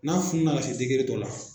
N'a fununna ka se dɔ la